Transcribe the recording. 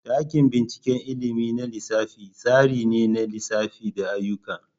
Dakin binciken ilimin na lissafi tsari ne na lissafi da ayyuka.